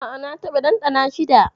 A'a, na taɓa ɗanɗana shi da.